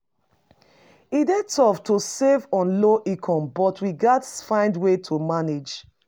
E dey tough to save on low income, but we gats find ways to manage.